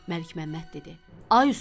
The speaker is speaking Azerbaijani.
Məlikməmməd dedi: